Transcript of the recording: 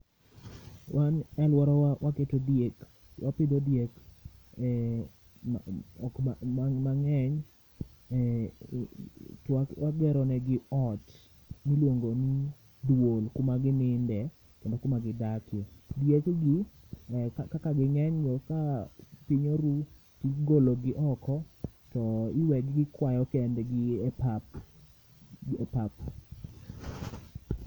Wan e alworawa waketo diek wapidho diek e ma ok ma mang'eny eh twak wageronegi ot milwongo ni duol kuma gininde kendo kuma gidake. Dieg gi eh ka kaka ging'enyno ka piny oruu, tigologi oko to iwegi gikwayo kendgi e pap e pap.